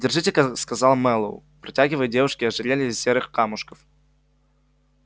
держите-ка сказал мэллоу протягивая девушке ожерелье из серых камушков